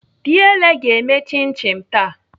Diele ga-eme chin chin taa.